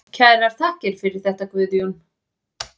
Kærar þakkir fyrir þetta Guðjón.